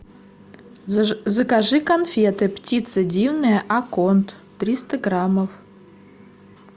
закажи конфеты птица дивная акконт триста граммов